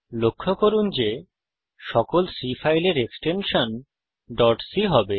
লক্ষ্য করুন যে সকল C ফাইলের এক্সটেনশন ডট c হবে